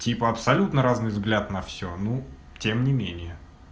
типа абсолютно разный взгляд на всё ну тем не менее